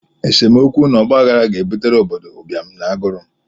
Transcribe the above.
Esemokwu na ọgbaghara ga-ebutere obodo ụbịam na agụụ